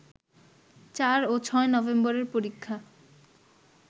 ৪ ও ৬ নভেম্বরের পরীক্ষা